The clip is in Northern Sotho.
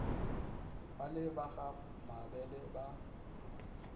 bale ba ga mabele ba